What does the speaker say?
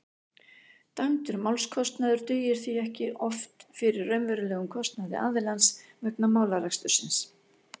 dæmdur málskostnaður dugir því oft ekki fyrir raunverulegum kostnaði aðilans vegna málarekstursins